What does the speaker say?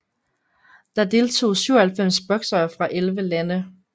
Der deltog 97 boksere fra 11 lande